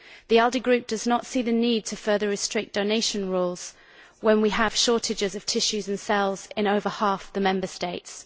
The ALDE Group does not see the need to further restrict donation rules when we have shortages of tissues and cells in over half the Member States.